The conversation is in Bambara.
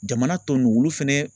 Jamana tɔ nunu olu fɛnɛ.